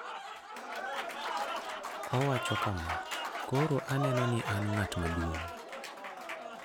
Owacho kama: "Koro aneno ni an ng'at maduong '."